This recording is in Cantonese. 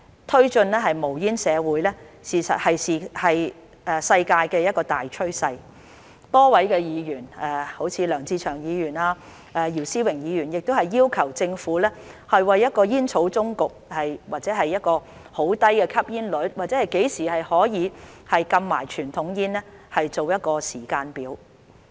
推進無煙社會是世界的大趨勢，多位議員好像梁志祥議員和姚思榮議員亦要求政府為一個煙草終局，或一個很低的吸煙率，甚至何時可以禁傳統煙做一個時間表。